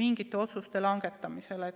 mingite otsuste langetamisel.